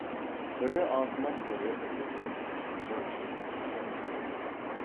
бірі артынан бірі ілесіп жылжып сырғып келіп жатыр